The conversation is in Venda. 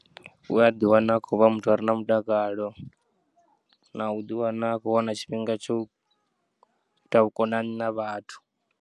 U ya ḓiwana a khovha muthu are na mutakalo, na u ḓiwana akho wana tshifhinga tsho ita vhukonani na vhathu.